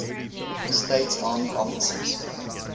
states army officers